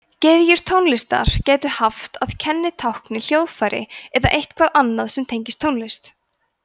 gyðjur tónlistar gætu haft að kennitákni hljóðfæri eða eitthvað annað sem tengist tónlist